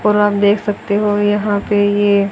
और आप देख सकते हो यहां पे ये--